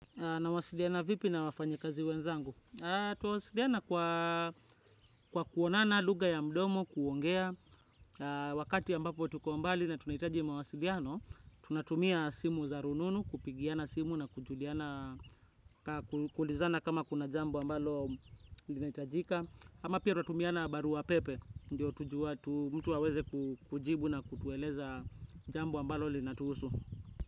Nawasiliana vipi na wafanyakazi wenzangu? Twasiliana kwa kuonana lugha ya mdomo, kuongea. Wakati ambapo tuko mbali na tunahitaji mawasiliano, tunatumia simu za rununu, kupigiana simu na kujuliana, kuulizana kama kuna jambo ambalo linahitajika. Ama pia twatumiana barua pepe, ndo tujue mtu aweze kujibu na kutueleza jambo ambalo linatuhusu.